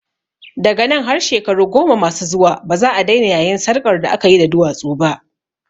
Daga nan har shekaru goma masu zuwa baza'a daina yayin sarƙar da akayi da duwatsu ba